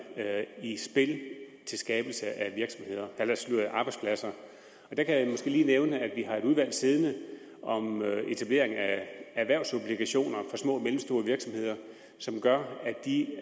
i spil til skabelse af arbejdspladser der kan jeg måske lige nævne at vi har et udvalg siddende om etablering af erhvervsobligationer for små og mellemstore virksomheder som gør at de